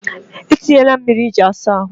E tinyela m mmiri iji asa ahụ.